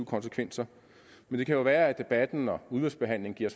konsekvenser det kan jo være at debatten og udvalgsbehandlingen giver